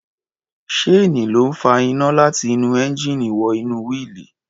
Ṣéènì ló ń fa iná láti inú ẹńjíìnì wọ inú wíìlì.